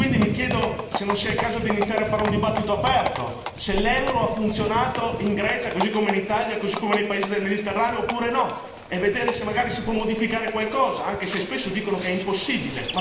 Mi chiedo quindi se non sia il caso di iniziare a fare un dibattito aperto, se l'euro ha funzionato in Grecia, così come in Italia, così come nei paesi del Mediterraneo oppure no, e vedere se magari si può modificare qualcosa, anche se spesso dicono che è impossibile.